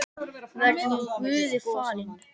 Verði hún Guði falin.